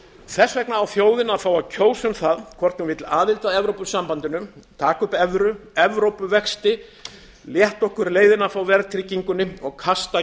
þess vegna á þjóðin að fá að kjósa um það hvort hún vill aðild að evrópusambandinu taka upp evru evrópuvexti létta okkur leiðina frá verðtryggingunni og kasta